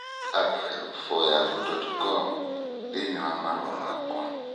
Get apahelp for yahoo dot com thĩinĩ wa marũa makwa